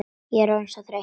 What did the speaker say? Ég er orðin svo þreytt.